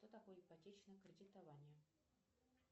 что такое ипотечное кредитование